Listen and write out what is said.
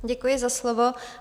Děkuji za slovo.